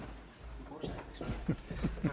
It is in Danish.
vi